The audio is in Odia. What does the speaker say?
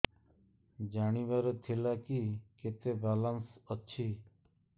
ଜାଣିବାର ଥିଲା କି କେତେ ବାଲାନ୍ସ ଅଛି